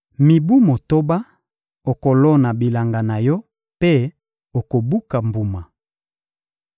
Mibu motoba, okolona bilanga na yo mpe okobuka mbuma.